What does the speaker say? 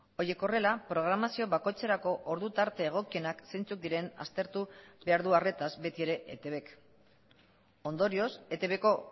horiek horrela programazio bakoitzerako ordu tarte egokienak zeintzuk diren aztertu behar du arretaz beti ere etbk ondorioz etbko